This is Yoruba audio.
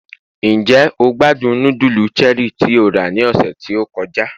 njé o gbádùn nudulu Cherie tí o ra ni ọsẹ ti o kọjá